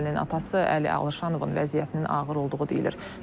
Gəlinin atası Əli Alışanovun vəziyyətinin ağır olduğu deyilir.